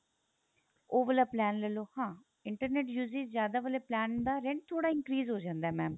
ਉਹ ਵਾਲਾ plan ਲੈ ਲੋ ਹਾਂ internet uses ਜਿਆਦਾ ਵਾਲੇ plan ਦਾ rent ਥੋੜਾ increase ਹੋ ਜਾਂਦਾ mam